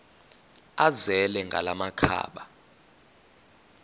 azele ngala makhaba